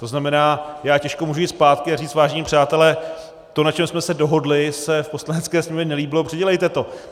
To znamená, já těžko můžu jít zpátky a říct: Vážení přátelé, to, na čem jsme se dohodli, se v Poslanecké sněmovně nelíbilo, předělejte to!